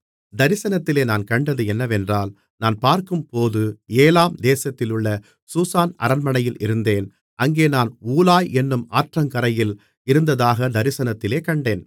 தரிசனத்திலே நான் கண்டது என்னவென்றால் நான் பார்க்கும்போது ஏலாம் தேசத்திலுள்ள சூசான் அரண்மனையில் இருந்தேன் அங்கே நான் ஊலாய் என்னும் ஆற்றங்கரையில் இருந்ததாகத் தரிசனத்திலே கண்டேன்